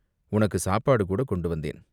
"உனக்குச் சாப்பாடு கூடக் கொண்டு வந்தேன்.